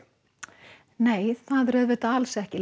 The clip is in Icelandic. nei alls ekki